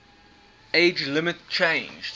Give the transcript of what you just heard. age limit changed